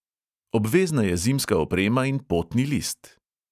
Obvezna je zimska oprema in potni list!